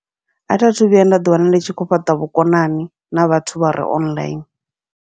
Atha thu vhuya nda ḓi wana ndi tshi kho fhaṱa vhukonani na vhathu vhare online.